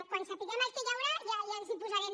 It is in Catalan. quan sapiguem el que hi haurà ja ens hi posarem